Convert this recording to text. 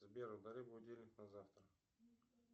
сбер удали будильник на завтра